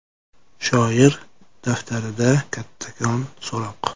Shoir daftarida kattakon so‘roq.